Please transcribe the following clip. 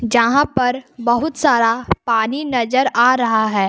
जहां पर बहुत सारा पानी नजर आ रहा है।